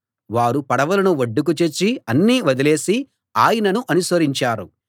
వారు పడవలను ఒడ్డుకు చేర్చి అన్నీ వదిలేసి ఆయనను అనుసరించారు